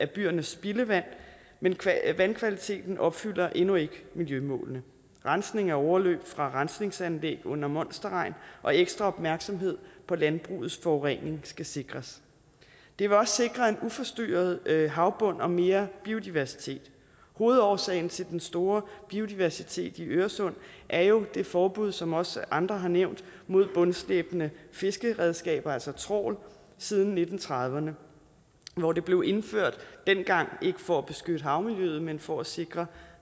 byernes spildevand men vandkvaliteten opfylder endnu ikke miljømålene rensning af overløb fra rensningsanlæg under monsterregn og ekstra opmærksomhed på landbrugets forurening skal sikres det vil også sikre en uforstyrret havbund og mere biodiversitet hovedårsagen til den store biodiversitet i øresund er jo det forbud som også andre har nævnt mod bundslæbende fiskeredskaber altså trawl siden nitten trediverne hvor det blev indført dengang ikke for at beskytte havmiljøet men for at sikre